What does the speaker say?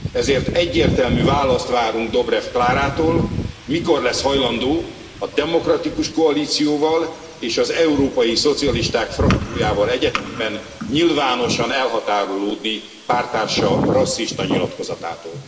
Ezért egyértelmű választ várunk Dobrev Klárától, mikor lesz hajlandó a Demokratikus Koalícióval és az európai szocialisták frakciójával egyetemben nyilvánosan elhatárolódni párttársa rasszista nyilatkozatától.